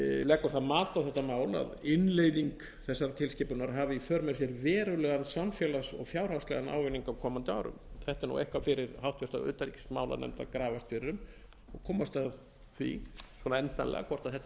leggur það mat á þetta mál að innleiðing þessarar tilskipunar hafi í för með sér verulegan samfélags og fjárhagslegan ávinning á komandi árum þetta er eitthvað fyrir háttvirtri utanríkismálanefnd að grafast fyrir um og komast að því endanlega hvort þetta sé ekki eitthvað sem